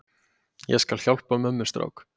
Ég skal hjálpa mömmustrák.